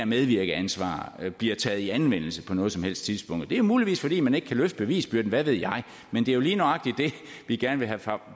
medvirkeansvar bliver taget i anvendelse på noget som helst tidspunkt det er muligvis fordi man ikke kan løfte bevisbyrden hvad ved jeg men det er lige nøjagtig det vi gerne vil have